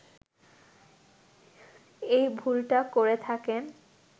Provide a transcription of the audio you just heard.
এই ভুলটা করে থাকেন